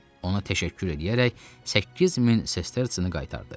Ona təşəkkür eləyərək 8000 sestertsini qaytardı.